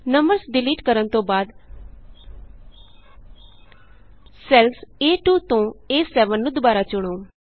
numbers delete ਕਰਣ ਤੋਂ ਬਾਅਦ ਸੈੱਲਸ A2ਤੋਂ A7ਨੂੰ ਦੁਬਾਰਾ ਚੁਣੋ